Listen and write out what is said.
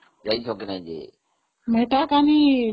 ଯାଇଛ କି ନାଇଁ ଯେ? ମେଟାକାନି..